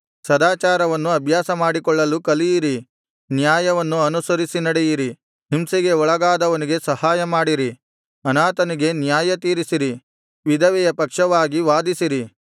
ಸದಾಚಾರವನ್ನು ಅಭ್ಯಾಸ ಮಾಡಿಕೊಳ್ಳಲು ಕಲಿಯಿರಿ ನ್ಯಾಯವನ್ನು ಅನುಸರಿಸಿ ನಡೆಯಿರಿ ಹಿಂಸೆಗೆ ಒಳಗಾದವನಿಗೆ ಸಹಾಯಮಾಡಿರಿ ಅನಾಥನಿಗೆ ನ್ಯಾಯತೀರಿಸಿರಿ ವಿಧವೆಯ ಪಕ್ಷವಾಗಿ ವಾದಿಸಿರಿ